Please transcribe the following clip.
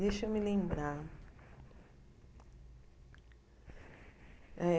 Deixa eu me lembrar.